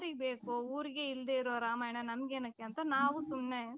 ಯಾರಿಗ ಬೇಕು ಊರಿಗೆ ಇಲ್ದಇರೋ ರಾಮಾಯಣ ನಂಗೆ ಎಣಿಕೆ ಅಂತ ನಾವು ಸುಮ್ನೆ .